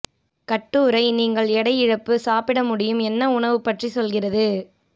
கட்டுரை நீங்கள் எடை இழப்பு சாப்பிட முடியும் என்ன உணவு பற்றி சொல்கிறது